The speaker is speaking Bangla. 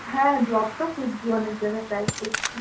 হ্যাঁ job তো খুজ্জি অনেক জায়গায় try করছি.